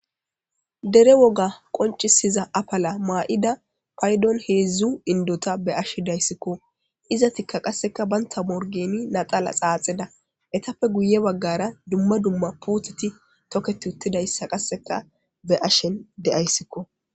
dere woga qoncisiza apala maa7ida paydon heedzdzu indota be ashedayssikko izatikka qasseka banta morgeni naxala xaaxeda etappe guye baggara dumma dumma puteti toket uttidayssa qasseka be ashen deyayssikko